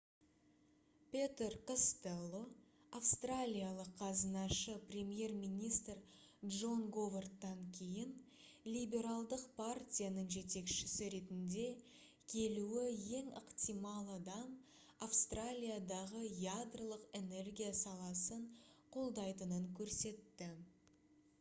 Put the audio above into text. петер костелло австралиялық қазынашы премьер-министр джон говардтан кейін либералдық партияның жетекшісі ретінде келуі ең ықтимал адам австралиядағы ядролық энергия саласын қолдайтынын көрсетті